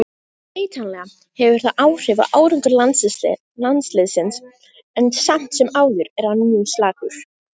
Vitanlega hefur það áhrif á árangur landsliðsins en samt sem áður er hann mjög slakur.